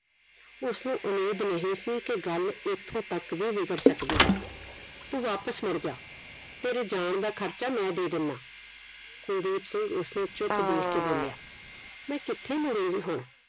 ਉਸਨੂੰ ਉਮੀਦ ਨਹੀਂ ਸੀ ਕਿ ਗੱਲ ਇਥੋਂ ਤੱਕ ਵੀ ਵਿਗੜ ਸਕਦੀ ਹੈ ਤੂੰ ਵਾਪਿਸ ਮੁੜਜਾ ਤੇਰੇ ਜਾਣ ਦਾ ਖਰਚਾ ਮੈਂ ਦੇ ਦਿੰਨਾ ਕੁਲਦੀਪ ਸਿੰਘ ਉਸ ਨੂੰ ਚੁੱਪ ਦੇਖ ਕੇ ਬੋਲਿਆ ਮੈਂ ਕਿਥੇ ਮੂੜੁਗੀ ਹੁਣ